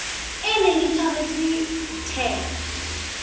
e neng e tshwaretswe the